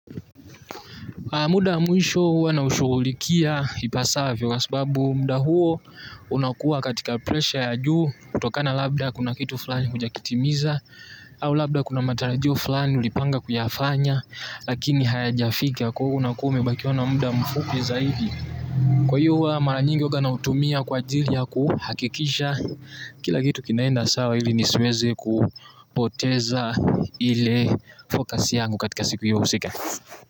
Muda wa mwisho huwa naushugulikia ipasavyo kwa sababu muda huo unakuwa katika presha ya juu kutokana labda kuna kitu fulani hujakitimiza au labda kuna matarajio fulani ulipanga kuyafanya lakini haya jafika kwa hivo unakuwa umebakiwa na muda mfupi zaidi. Kwa hiyo huwa mara nyingi uwaga nautumia kwa jili ya kuhakikisha kila kitu kinaenda sawa ili nisiweze kupoteza ile focus yangu katika siku hiyo husika.